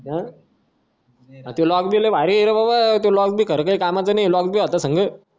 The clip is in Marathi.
अं तो lock बी लई भारी ये रे बबा तो lock बी खरं काय कामाचा नाही ये lock बी होता संग